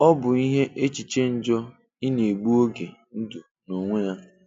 Ọ bụ ihe échịché njọ ị na-egbù oge ndụ n’onwe ya